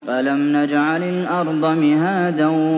أَلَمْ نَجْعَلِ الْأَرْضَ مِهَادًا